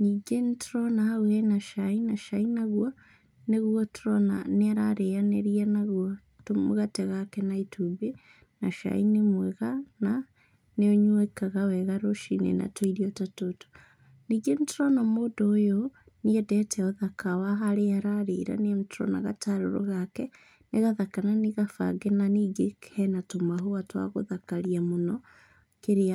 Ningĩ nĩtũrona hau hena cai, na cai naguo, nĩguo tũrona niararĩanĩrĩa naguo tũmũgate gake na itumbĩ na cai nĩ mwega na nĩũnyuĩkaga wega ruciini na tũirio ta tũtũ. ningĩ nĩtũrona mũndũ ũyũ nĩendete ũthaka wa harĩa ararĩra nĩtũrona gatarũrũ gake, nĩ gathaka na nĩgabange na ningĩ kena tũmahũa twa gũthakaria mũno kĩrĩa..